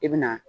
I bɛ na